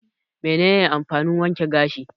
Me ne ne amfanin wanke gashi?